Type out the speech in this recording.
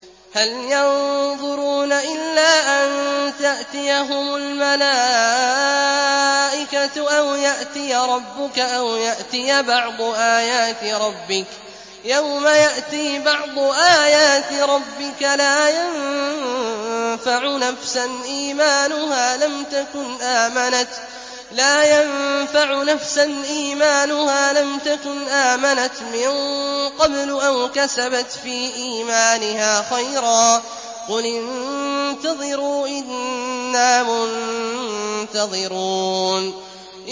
هَلْ يَنظُرُونَ إِلَّا أَن تَأْتِيَهُمُ الْمَلَائِكَةُ أَوْ يَأْتِيَ رَبُّكَ أَوْ يَأْتِيَ بَعْضُ آيَاتِ رَبِّكَ ۗ يَوْمَ يَأْتِي بَعْضُ آيَاتِ رَبِّكَ لَا يَنفَعُ نَفْسًا إِيمَانُهَا لَمْ تَكُنْ آمَنَتْ مِن قَبْلُ أَوْ كَسَبَتْ فِي إِيمَانِهَا خَيْرًا ۗ قُلِ انتَظِرُوا إِنَّا مُنتَظِرُونَ